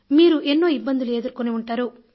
మీరు ఎన్నో ఇబ్బందులు ఎదుర్కొని ఉంటారు